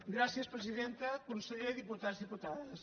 gràcies presidenta conseller diputats diputades